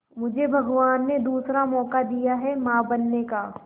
मुझे भगवान ने दूसरा मौका दिया है मां बनने का